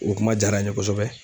O kuma jaara n ye kosɛbɛ.